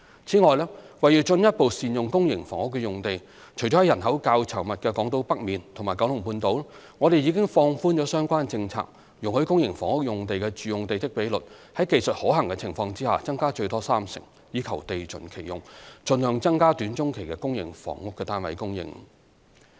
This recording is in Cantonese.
此外，為進一步善用公營房屋用地，除了在人口較稠密的港島北面和九龍半島外，我們已放寬相關政策，容許公營房屋用地的住用地積比率在技術可行的情況下增加最多三成，以地盡其用，盡量增加短中期的公營房屋單位供應。